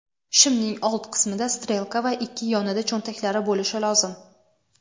Shimning old qismida strelka va ikki yonida cho‘ntaklari bo‘lishi lozim.